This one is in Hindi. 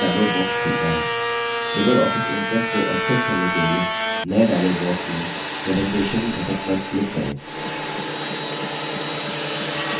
लिबर ऑफिस impress को access करने के लिए नए dialog box में presentation घटक पर click करें create पर click करें